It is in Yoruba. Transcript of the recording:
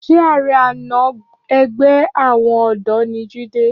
Ṣé ààrẹ àná ẹgbẹ́ àwọn ọ̀dọ́ ni Jídé?